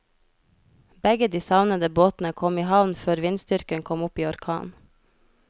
Begge de savnede båtene kom i havn før vindstyrken kom opp i orkan.